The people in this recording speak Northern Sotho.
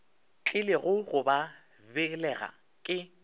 tlilego go ba belega ke